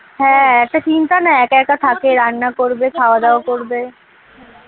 হ্যাঁ একটা চিন্তা না একা একা থাকে রান্না করবে খাওয়া দাওয়া করবে